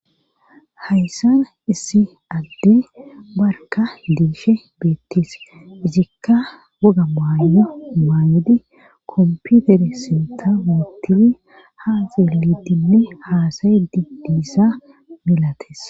hayssan issi adde barka diishe beettis izikka waga maanya maannedi komputere sinta wuuttii haaxelidinne haasayi dibdiissa melates